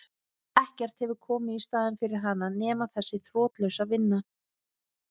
Ekkert hefur komið í staðinn fyrir hana nema þessi þrotlausa vinna.